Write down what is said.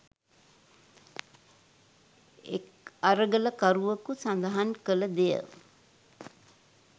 එක් අරගලකරුවකු සඳහන් කළ දෙය